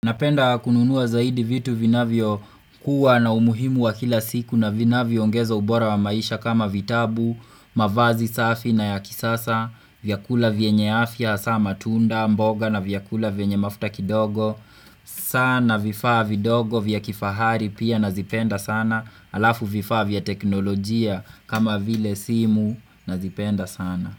Napenda kununuwa zaidi vitu vina vio kuwa na umuhimu wa kila siku na vina vio ngezo ubora wa maisha kama vitabu, mavazi safi na ya kisasa, vyakula vienye afya, asama tunda, mboga na vyakula vienye mafuta kidogo, sana vifaa vidogo vya kifahari pia na zipenda sana, alafu vifaa vya teknolojia kama vile simu na zipenda sana.